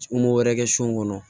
N m'o wɛrɛ kɛ so kɔnɔ